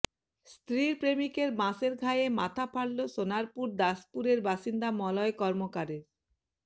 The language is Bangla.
স্ত্রীর প্রেমিকের বাঁশের ঘায়ে মাথা ফাটল সোনারপুর দাসপুরের বাসিন্দা মলয় কর্মকার